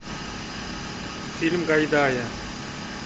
фильм гайдая